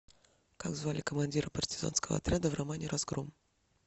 как звали командира партизанского отряда в романе разгром